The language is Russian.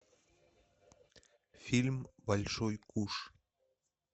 фильм большой куш